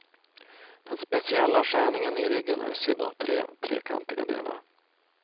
Den speciella skärningen i ryggen är sydd av tre trekantiga delar.